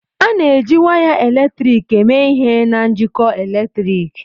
A na-eji waya eletrik eme ihe na njikọ eletrik.